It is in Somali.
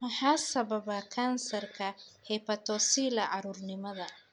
Maxaa sababa kansarka hepatocellular, carruurnimada?